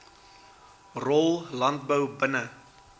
rol landbou binne